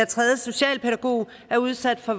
tredje socialpædagog er udsat for